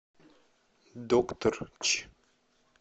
докторъ ч